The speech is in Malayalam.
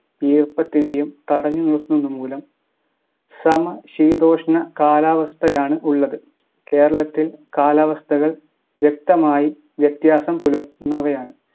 ഈർപ്പത്തിനേയും തടഞ്ഞു നിർത്തുന്നതു മൂലം സമശീതോഷ്ണ കാലാവസ്ഥയാണ് ഉള്ളത് കേരളത്തിൽ കാലാവസ്ഥകൾ വ്യക്തമായി വ്യത്യാസം പുലർത്തുന്നവയാണ്